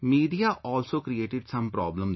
Media also created some problem there